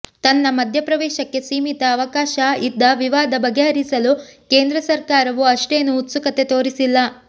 ತನ್ನ ಮಧ್ಯಪ್ರವೇಶಕ್ಕೆ ಸೀಮಿತ ಅವಕಾಶ ಇದ್ದ ವಿವಾದ ಬಗೆಹರಿಸಲು ಕೇಂದ್ರ ಸರ್ಕಾರವು ಅಷ್ಟೇನೂ ಉತ್ಸುಕತೆ ತೋರಿಸಿಲ್ಲ